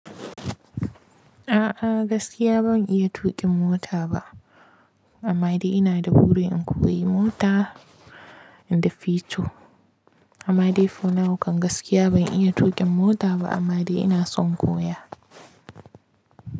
A'a gaskiya ban iya tuƙin mota ba, amma dai ina da buri in koyi mota in the future. Amma dai for now kan gaskiya ban iya tuƙin mota ba amma dai ina son koya.